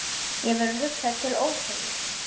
Mér verður hugsað til Ófeigs.